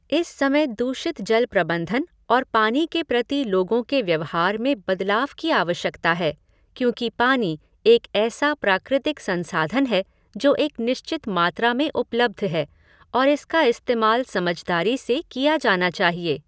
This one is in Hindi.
इस समय दूषित जल प्रबंधन और पानी के प्रति लोगों के व्यवहार में बदलाव की आवश्यकता है, क्योंकि पानी एक ऐसा प्राकृतिक संसाधन है जो एक निश्चित मात्रा में उपलब्ध है और इसका इस्तेमाल समझदारी से किया जाना चाहिए।